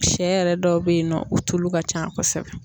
Shɛ yɛrɛ dɔw bɛ ye nɔ o tulu ka can kosɛbɛ.